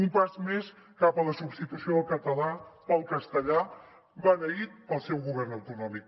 un pas més cap a la substitució del català pel castellà beneït pel seu govern autonòmic